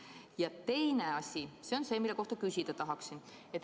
Ja teine asi on see, mille kohta küsida tahaksin.